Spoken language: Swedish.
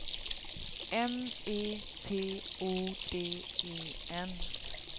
M E T O D E N